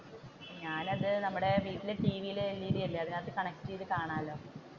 ഞാൻ അത് നമ്മുടെ വീട്ടിലെ ടിവി LED അല്ലെ അതിന്റെയകത്തു കണക്ട് ചെയ്തു കാണാമെല്ലോ.